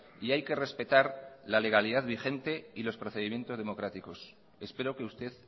y hay que respetar la legalidad vigente y los procedimientos democráticos espero que usted